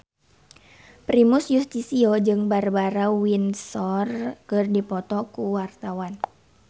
Primus Yustisio jeung Barbara Windsor keur dipoto ku wartawan